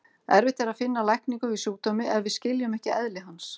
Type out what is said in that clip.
Erfitt er að finna lækningu við sjúkdómi ef við skiljum ekki eðli hans.